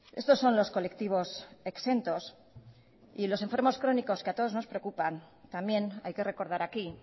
estos son los colectivos exentos y los enfermos crónicos que a todos nos preocupan también hay que recordar aquí